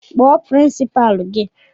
Kpọọ pirinsipalu gị!